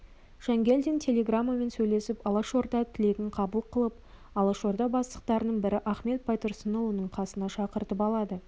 жангелдин телеграммен сөйлесіп алашорда тілегін қабыл қылып алашорда бастықтарының бірі ахмет байтұрсынұлын қасына шақыртып алады